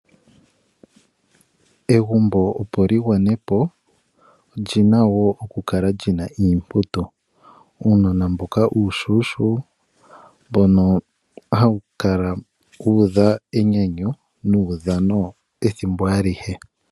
Egumbo opo lyi gwanepo, olya pumbwa oku kala lyina iimputu, uunona mboka uushona, mboka ha wu kala wu udha enyanyu nuudhano ethimbo alihe.